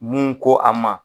Mun ko a ma.